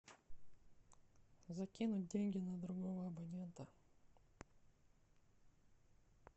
закинуть деньги на другого абонента